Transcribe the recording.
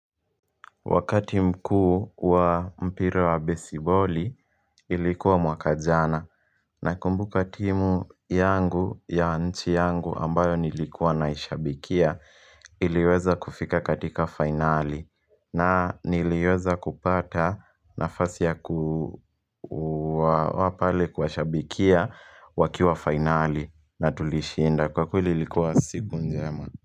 Wakati mkuu wa mpira wa besiboli ilikuwa mwaka jana Nakumbuka timu yangu ya nchi yangu ambayo nilikuwa naishabikia iliweza kufika katika finali na niliweza kupata nafasi ya wa kuwa pale kushabikia wakiwa finali na tulishinda kwa kweli ilikuwa siku njema.